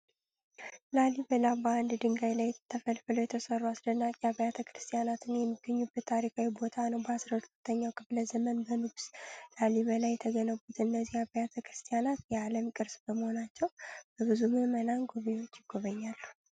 ላልይበላ በአንድ ድንጋይ ላይ ተፈልፍለው የተሠሩ አስደናቂ አብያተ ክርስቲያናት የሚገኙበት ታሪካዊ ቦታ ነው። በ12ኛው ክፍለ ዘመን በንጉሥ ላልይበላ የተገነቡት እነዚህ አብያተ ክርስቲያናት የዓለም ቅርስ በመሆናቸው በብዙ ምዕመናንና ጎብኚዎች ይጎበኛሉ።